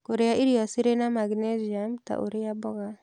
Kũrĩa irio cirĩ na maginesiamu, ta ũrĩa mboga